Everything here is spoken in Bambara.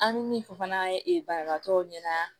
An bɛ min fɔ fana ee banabaatɔw ɲɛna